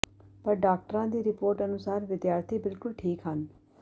ਪਰ ਡਾਕਟਰਾਂ ਦੀ ਰਿਪੋਰਟ ਅਨੁਸਾਰ ਵਿਦਿਆਰਥੀ ਬਿਲਕੁਲ ਠੀਕ ਹਨ